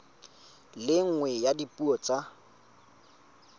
le nngwe ya dipuo tsa